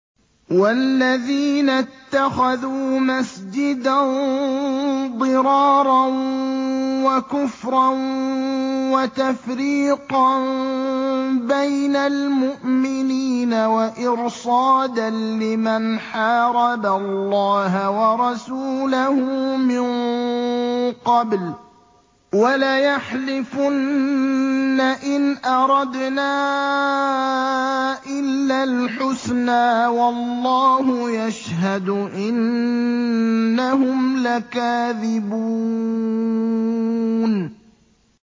وَالَّذِينَ اتَّخَذُوا مَسْجِدًا ضِرَارًا وَكُفْرًا وَتَفْرِيقًا بَيْنَ الْمُؤْمِنِينَ وَإِرْصَادًا لِّمَنْ حَارَبَ اللَّهَ وَرَسُولَهُ مِن قَبْلُ ۚ وَلَيَحْلِفُنَّ إِنْ أَرَدْنَا إِلَّا الْحُسْنَىٰ ۖ وَاللَّهُ يَشْهَدُ إِنَّهُمْ لَكَاذِبُونَ